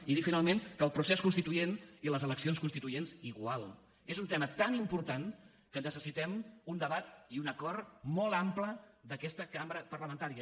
i dir finalment que el procés constituent i les eleccions constituents igual és un tema tan important que necessitem un debat i un acord molt ampli d’aquesta cambra parlamentària